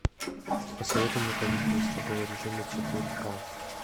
посоветуй мне каникулы строгого режима четыре ка